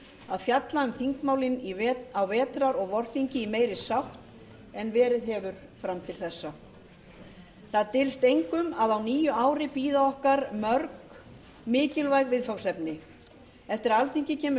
að fjalla um þingmálin á vetrar og vorþingi í meiri sátt en verið hefur fram til þessa það dylst engum að á nýju ári bíða okkar mörg mikilvæg viðfangsefni eftir að alþingi kemur